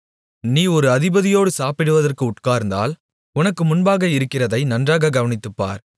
நீ ஒரு அதிபதியோடு சாப்பிடுவதற்கு உட்கார்ந்தால் உனக்கு முன்பாக இருக்கிறதை நன்றாகக் கவனித்துப்பார்